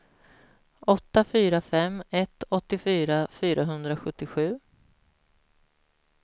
åtta fyra fem ett åttiofyra fyrahundrasjuttiosju